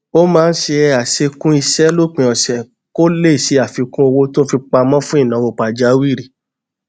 ó máa ń ṣe àṣekún iṣé lópin òsè kó lè ṣe àfikún owó tó ń fi pamọ fún ìnáwó pàjáwìrì